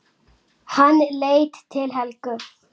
Hann leit til Helgu.